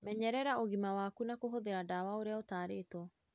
Menyerera ũgima waku na kũhũthĩra ndawa ũrĩa ũtarĩtwo.